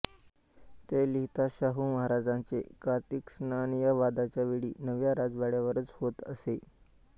ते लिहितात शाहू महाराजांचे कार्तिकस्नान या वादाच्या वेळी नव्या राजवाड्यावरच होत असे